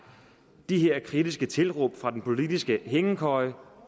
de her kritiske tilråb fra den politiske hængekøje